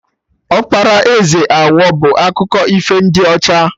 Ọkpara eze Awọ bụ akụkọ ifo ndị ọcha